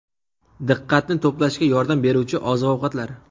Diqqatni to‘plashga yordam beruvchi oziq-ovqatlar.